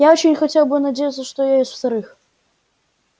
я очень хотел бы надеяться что и я из вторых